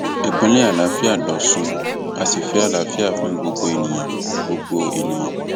ìpínlẹ àlàáfíà lọsùn á sì fẹ àlàáfíà fún gbogbo ènìyàn gbogbo ènìyàn